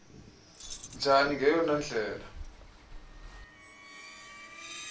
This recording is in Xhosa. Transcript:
njani ngeyona ndlela